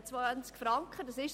Ich habe 20 Franken gesagt.